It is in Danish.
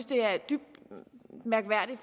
det er dybt mærkværdigt